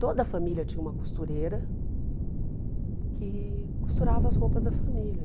Toda a família tinha uma costureira que costurava as roupas da família.